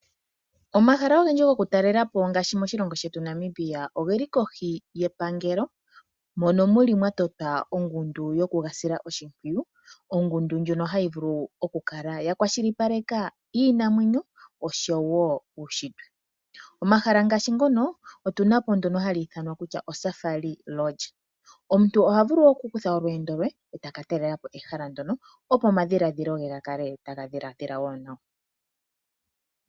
Omahala ogendji gokutalela po ngaashi moshilongo shetu Namibia oge li kohi yepangelo mono muli mwa totwa ongundu yoku ga sila oshimpwiyu. Ongundu ndjono hayi vulu oku kala yakwashilipaleka iinamwenyo oshowo uunshitwe. Omahala ngaashi ngono otu na po ndono hali ithanwa oSafari Lodge. Omuntu oha vulu okukutha olweendo , e taka talela po ehala ndyono opo omadhiladhilo ge ga kale taga dhiladhila wo nawa.